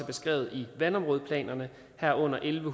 beskrevet i vandområdeplanerne herunder elleve